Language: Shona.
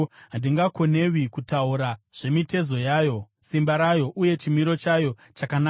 “Handingakonewi kutaura zvemitezo yayo, simba rayo uye chimiro chayo chakanaka.